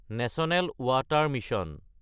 national water mission